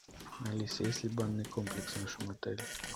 алиса есть ли банный комплекс в нашем отеле